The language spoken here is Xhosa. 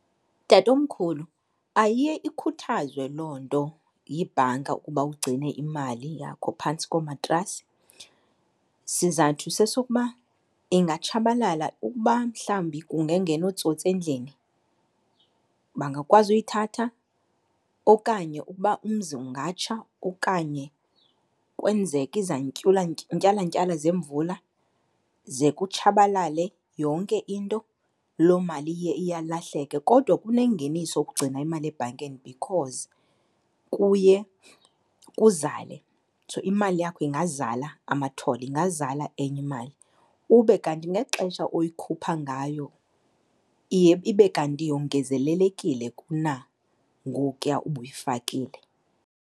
Tatomkhulu, ayiye ikhuthazwe loo nto yibhanka ukuba ugcine imali yakho phantsi komatrasi. Sizathu sesokuba ingatshabalala, ukuba mhlawumbi kungangena ootsotsi endlini bangakwazi uyithatha okanye ukuba umzi ungatsha okanye kwenzeke zemvula ze kutshabalale yonke into, loo mali iye iyalahleke. Kodwa kunengeniso ukugcina imali ebhankeni because kuye kuzale , imali yakho ingazala amathole, ingazala enye imali, ube kanti ngexesha oyikhupha ngayo iye ibe kanti yongezelelekile kunangokuya ubuyifakile.